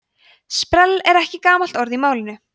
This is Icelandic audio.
sprell er ekki gamalt orð í málinu